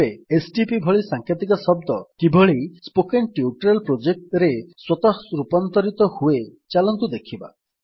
ତେବେ ଏସଟିପି ଭଳି ସାଂକେତିକ ଶବ୍ଦ କିଭଳି ସ୍ପୋକେନ୍ ଟ୍ୟୁଟୋରିଆଲ Projectରେ ସ୍ୱତଃ ରୂପାନ୍ତରିତ ହୁଏ ଚାଲନ୍ତୁ ଦେଖିବା